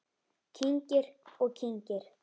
Kyngir og kyngir.